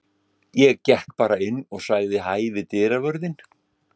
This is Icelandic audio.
Ég gekk bara inn og sagði hæ við dyravörðinn.